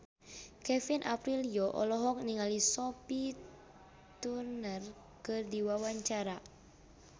Kevin Aprilio olohok ningali Sophie Turner keur diwawancara